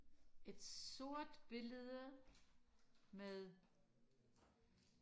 et sort billede med